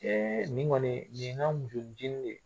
Ee nin kɔni nin ye n ka musonicinin de ye